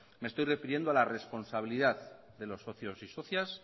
me estoy refiriendo a la responsabilidad de los socios y socias